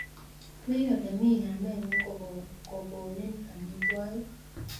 wii olemii kamengung kogoniin amitwokik